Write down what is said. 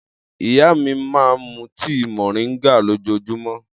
Iya mi ma mu tii moringa lojoojumọ.